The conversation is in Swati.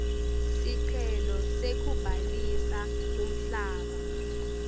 sicelo sekubhalisa umhlaba